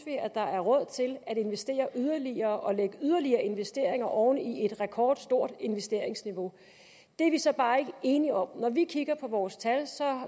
der er råd til at investere yderligere og lægge yderligere investeringer oven i et rekordstort investeringsniveau det er vi så bare ikke enige om når vi kigger på vores tal